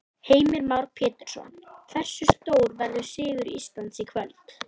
Heimir Már Pétursson: Hversu stór verður sigur Íslands í kvöld?